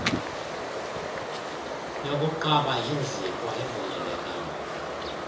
yokuqaba iinzipho ayivumelekanga